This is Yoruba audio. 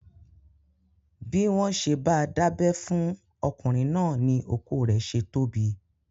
Bí wọ́n ṣe bá dábẹ́ fún ọkùnrin náà ni okó rẹ̀ ṣe tóbi.